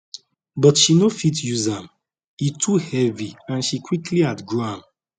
but she no fit use am e too heavy and she quickly outgrow am